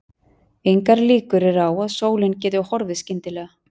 Engar líkur eru á að sólin geti horfið skyndilega.